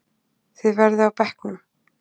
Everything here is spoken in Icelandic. Þið verðið á bekknum!